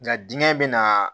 Nka dingɛn be na